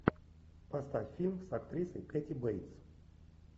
поставь фильм с актрисой кэти бейтс